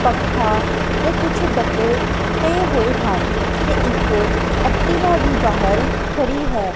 ਪੱਖਾ ਤੇ ਕੁਝ ਡੱਬੇ ਪਏ ਹੋਏ ਹਨ ਤੇ ਇੱਕ ਐਕਟੀਵਾ ਵੀ ਬਾਹਰ ਖੜੀ ਹੈ।